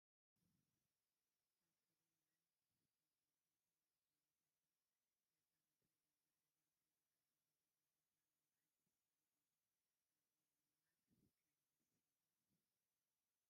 ኣብ ፍሉይ ናይ ኩማታትን ጐቦታትን ገፀ ምድሪ መንበሪ ገዛውቲ ይርአዩ ኣለዉ፡፡ እዚ ቦታ ንምርኣዩ ደስ ዝብል እዩ፡፡ ኣብኡ ንምንባር ከ ደስ ዶ ይብል?